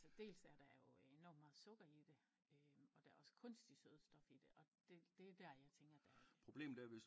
Til dels er der jo enormt meget sukker i det øh og der er også kunstigt sødestof i det og det er der jeg tænker der